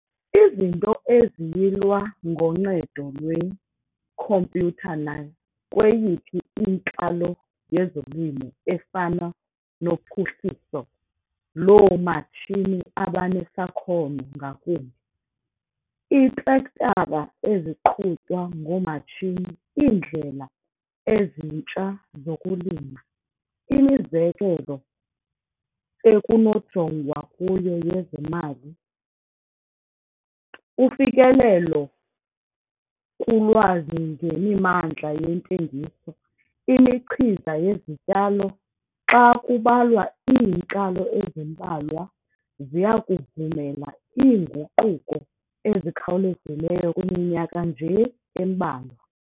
Izinto eziyilwa ngoncedo lwekhompyutha nakweyiphi inkalo yezolimo efana nophuhliso loomatshini abanesakhono ngakumbi, iitrektara eziqhutywa ngomatshini, iindlela ezintsha zokulima, imizekelo ekunojongwa kuyo yezemali, ufikelelo kulwazi ngemimandla yentengiso, imichiza yezityalo, xa kubalwa iinkalo ezimbalwa, ziya kuvumela iinguquko ezikhawulezayo kwiminyaka nje embalwa.